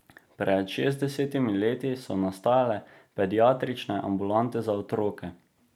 Pred šestdesetimi leti so nastajale pediatrične ambulante za otroke.